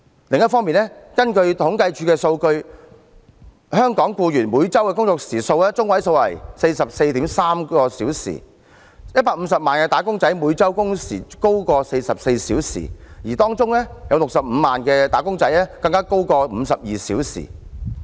另一方面，根據政府統計處數據，香港僱員每周工作中位時數為 44.3 小時 ，150 萬名"打工仔"每周工時高於44小時，當中65萬名"打工仔"更高於52小時。